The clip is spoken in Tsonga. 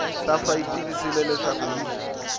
safa yi tivisile leswaku yi